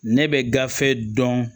Ne bɛ gafe dɔn